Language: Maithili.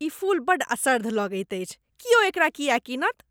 ई फूल बड्ड असर्द्ध लगैत अछि। क्यो एकरा किएक कीनत ?